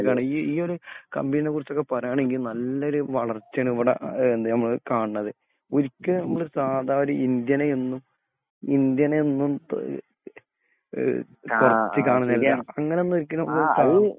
മുന്നേറിക്കൊണ്ടിരിക്കാണ്. ഈ ഇയൊരു കമ്പനിനെ കുറിച്ച് പറയാണെങ്കി നല്ലൊരു വളർച്ചേണ് ഇവിടെ ഏഹ് എന്ത് നമ്മള് കാണിണത്. ഒരിക്കലും ഒരു സാദാ ഇന്ത്യനെ എന്ന് ഇന്ത്യന് എന്നും ഏഹ് ആഹ്